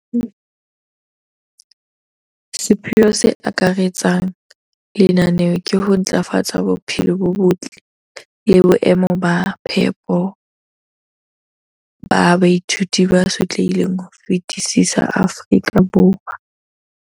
Sepheo se akaretsang sa lenaneo ke ho ntlafatsa bophelo bo botle le boemo ba phepo ba baithuti ba sotlehileng ho fetisisa Afrika Borwa.